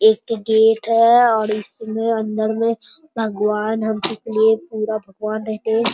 एक ठो गेट है और इसमें अंदर में भगवान हमलोग के लिए पूरा भगवान है।